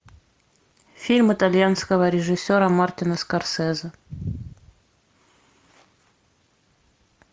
фильм итальянского режиссера мартина скорсезе